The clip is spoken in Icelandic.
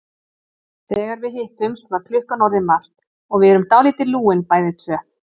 Þegar við hittumst var klukkan orðin margt og við erum dálítið lúin bæði tvö.